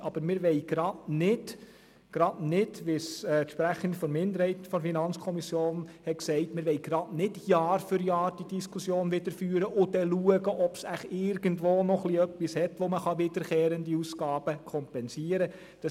Aber wir wollen eben gerade nicht, wie es die Sprecherin der Minderheit der FiKo gesagt hat, Jahr für Jahr diese Diskussion wieder führen und dann schauen, ob es vielleicht irgendwo wieder ein wenig etwas hat, mit dem man wiederkehrende Ausgaben kompensieren kann.